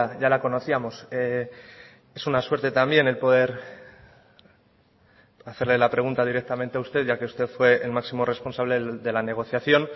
ya la conocíamos es una suerte también el poder hacerle la pregunta directamente a usted ya que usted fue el máximo responsable de la negociación